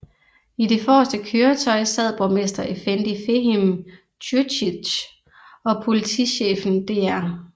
I det forreste køretøj sad borgmester effendi Fehim Čurčić og politichefen dr